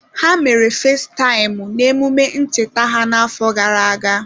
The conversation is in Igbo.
Ha mere fesitaịmụ n'emume ncheta ha n'afọ gara aga.